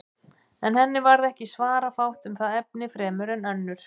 En henni varð ekki svara fátt um það efni fremur en önnur.